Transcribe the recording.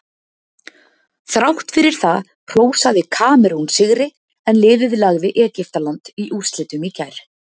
Þrátt fyrir það hrósaði Kamerún sigri en liðið lagði Egyptaland í úrslitum í gær.